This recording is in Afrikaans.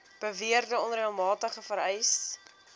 beweerde onreëlmatigheid vereis